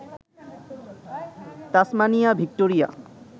Tasmania, Victoria